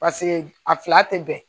Paseke a fila tɛ bɛn